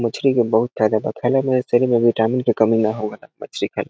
मछली के बहुत फायदा बा खाईला में शरीर में विटामिन के कमी न होवे ला मछली खाएला।